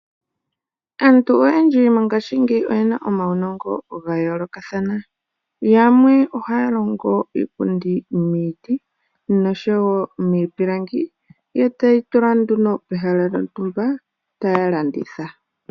Aantu oyendji mongashingeyi oyena omaunongo ga yoolokathana. Yamwe ohaya longo iipundi miiti nosho wo miipilangi. Ye teyi tula nduno pehala lyontumba taya landitha.